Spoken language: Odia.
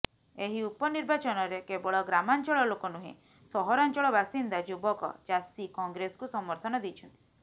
ଏହି ଉପନିର୍ବାଚନରେ କେବଳ ଗ୍ରାମାଞ୍ଚଳ ଲୋକ ନୁହେଁ ସହରାଞ୍ଚଳ ବାସିନ୍ଦା ଯୁବକ ଚାଷୀ କଂଗ୍ରେସକୁ ସମର୍ଥନ ଦେଇଛନ୍ତି